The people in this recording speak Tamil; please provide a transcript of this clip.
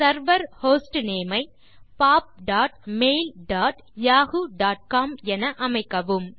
செர்வர் ஹோஸ்ட்னேம் ஐ pop dot mail dot Yahoo dot com என அமைக்கவும்